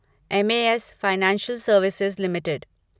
M A S financial services limited